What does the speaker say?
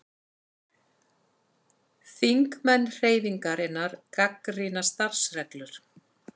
Þingmenn Hreyfingarinnar gagnrýna starfsreglur